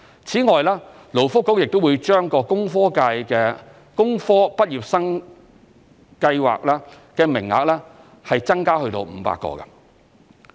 此外，勞工及福利局亦會把工科畢業生訓練計劃的名額增至500個。